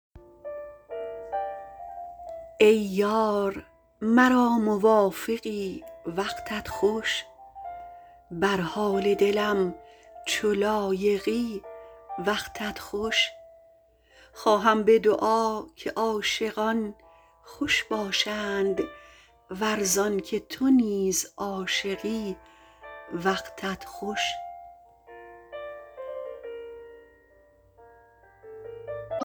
ای یار مرا موافقی وقتت خوش بر حال دلم چو لایقی وقتت خوش خواهم به دعا که عاشقان خوش باشند ور زانکه تو نیز عاشقی وقتت خوش